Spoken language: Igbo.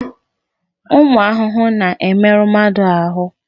Ụmụ ahụhụ na-emerụ mmadụ ahụ.